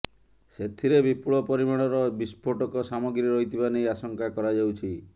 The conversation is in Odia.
ସେଥିରେ ବିପୁଳ ପରିମାଣର ବିସ୍ଫୋଟକ ସାମଗ୍ରୀ ରହିଥିବା ନେଇ ଆଶଙ୍କା କରାଯାଉଛି